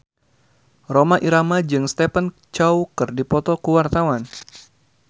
Rhoma Irama jeung Stephen Chow keur dipoto ku wartawan